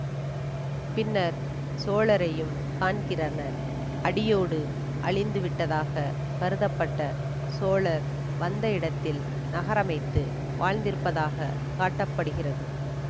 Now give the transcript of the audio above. பின்னர் சோழரையும் காண்கிறனர் அடியோடு அழிந்து விட்டதாக கருதப்பட்ட சோழர் வந்த இடத்தில் நகரமைத்து வாழ்ந்திருப்பதாக காட்ட படுகிறது